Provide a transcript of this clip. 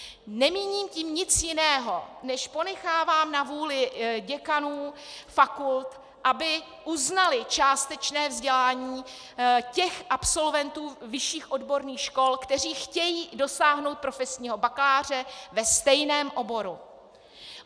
Nemíním tím nic jiného, než ponechávám na vůli děkanů fakult, aby uznali částečné vzdělání těch absolventů vyšších odborných škol, kteří chtějí dosáhnout profesního bakaláře ve stejném oboru.